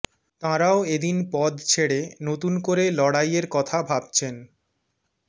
তাঁরাও এদিন পদ ছেড়ে নতুন করে লড়াইয়ের কথা ভাবছেন